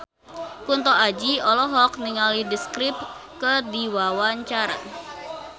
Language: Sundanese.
Kunto Aji olohok ningali The Script keur diwawancara